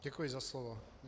Děkuji za slovo.